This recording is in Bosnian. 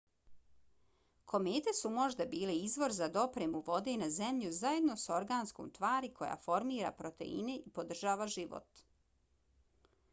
komete su možda bile izvor za dopremu vode na zemlju zajedno s organskom tvari koja formira proteine i podržava život